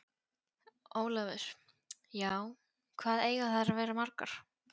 Ólafur: Já. hvað eiga þær að vera margar?